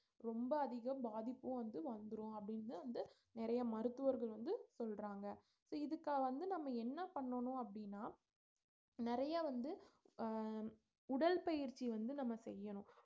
ரொம்ப அதிகம் பாதிப்பும் வந்து வந்துரும் அப்படின்னு வந்து நிறைய மருத்துவர்கள் வந்து சொல்றாங்க இப்ப இதுக்காக வந்து நம்ம என்ன பண்ணனும் அப்படீன்னா நிறைய வந்து அஹ் உடல் பயிற்சி வந்து நம்ம செய்யணும்